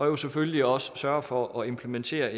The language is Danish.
jo selvfølgelig også sørger for at implementere